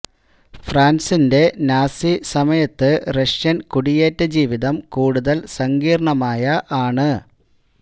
ഫ്രാൻസിന്റെ നാസി സമയത്ത് റഷ്യൻ കുടിയേറ്റ ജീവിതം കൂടുതൽ സങ്കീർണ്ണമായ ആണ്